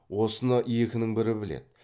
осыны екінің бірі біледі